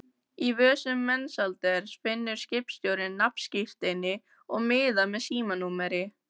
Í vösum Mensalders finnur skipstjórinn nafnskírteini og miða með símanúmeri.